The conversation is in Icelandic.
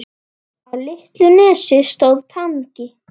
Á litlu nesi stóð Tangi.